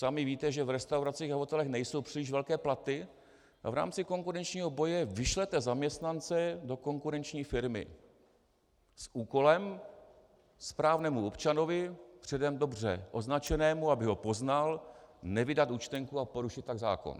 Sami víte, že v restauracích a hotelech nejsou příliš velké platy, a v rámci konkurenčního boje vyšlete zaměstnance do konkurenční firmy s úkolem správnému občanovi, předem dobře označenému, aby ho poznal, nevydat účtenku a porušit tak zákon.